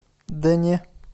да не